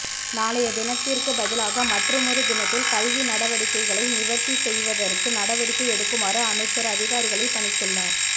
நாளைய தினத்திற்குப் பதிலாக மற்றுமொரு தினத்தில் கல்வி நடவடிக்கைகளை நிவர்த்தி செய்வதற்கு நடவடிக்கை எடுக்குமாறு அமைச்சர் அதிகாரிகளைப் பணித்துள்ளார்